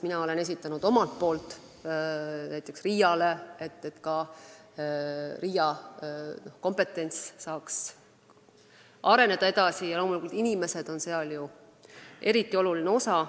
Mina olen esitanud ka rahataotlusi selleks, RIA saaks edasi areneda ja oma kompetentsust kasvatada, loomulikult on inimesed seal eriti oluline osa.